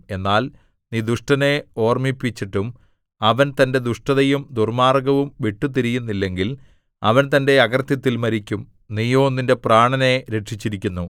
എന്നാൽ നീ ദുഷ്ടനെ ഓർമ്മിപ്പിച്ചിട്ടും അവൻ തന്റെ ദുഷ്ടതയും ദുർമ്മാർഗ്ഗവും വിട്ടുതിരിയുന്നില്ലെങ്കിൽ അവൻ തന്റെ അകൃത്യത്തിൽ മരിക്കും നീയോ നിന്റെ പ്രാണനെ രക്ഷിച്ചിരിക്കുന്നു